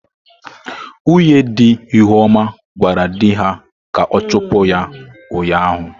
Nwunye di Ihuoma gwara di ha ka ọ chụpụ ya ụnyahụ.